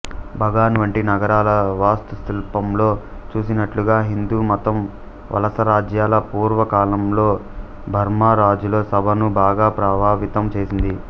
బగాన్ వంటి నగరాల వాస్తుశిల్పంలో చూసినట్లుగా హిందూమతం వలసరాజ్యాల పూర్వ కాలంలో బర్మా రాజుల సభను బాగా ప్రభావితం చేసింది